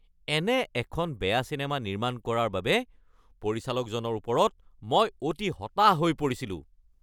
এনে এখন বেয়া চিনেমা নিৰ্মাণ কৰাৰ বাবে পৰিচালকজনৰ ওপৰত মই অতি হতাশ হৈ পৰিছিলোঁ।